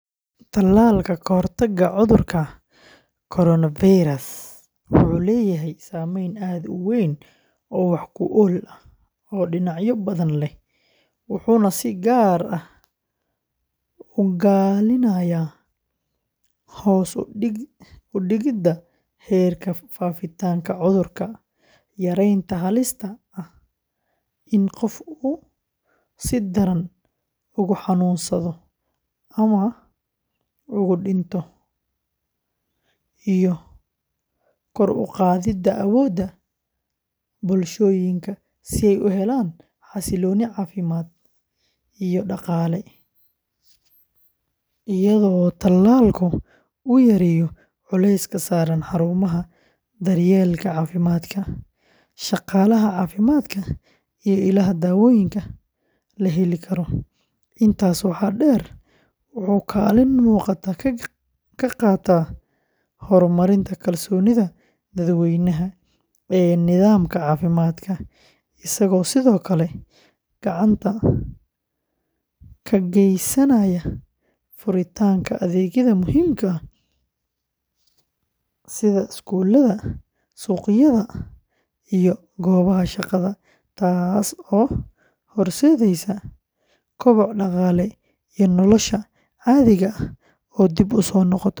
Tallaalka ka hortagga cudurka coronavirus wuxuu leeyahay saameyn aad u weyn oo wax ku ool ah oo dhinacyo badan leh, wuxuuna si gaar ah ugaalinayaa hoos u dhigidda heerka faafitaanka cudurka, yareynta halista ah in qof uu si daran ugu xanuunsado ama ugu dhinto iyo kor u qaadidda awoodda bulshooyinka si ay u helaan xasillooni caafimaad iyo dhaqaale, iyadoo tallaalku uu yareeyo culayska saaran xarumaha daryeelka caafimaadka, shaqaalaha caafimaadka, iyo ilaha daawooyinka la heli karo; intaas waxaa dheer, wuxuu kaalin muuqata ka qaataa horumarinta kalsoonida dadweynaha ee nidaamka caafimaadka, isagoo sidoo kale gacan ka geysanaya furitaanka adeegyada muhiimka ah sida iskuulada, suuqyada, iyo goobaha shaqada, taas oo horseedaysa koboc dhaqaale iyo nolosha caadiga ah oo dib u soo noqota.